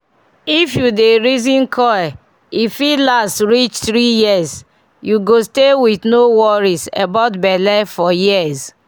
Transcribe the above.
if you dey reason coil e fit last reach 3yrs -- u go stay with no worries about belle for years